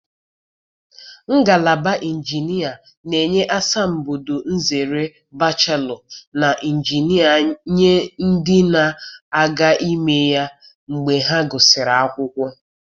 Ngalaba injinia na-enye asambodo nzere bachelọ na injinia nye ndị na-aga ime ya mgbe ha gụsịrị akwụkwọ.